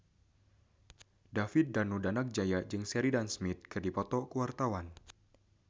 David Danu Danangjaya jeung Sheridan Smith keur dipoto ku wartawan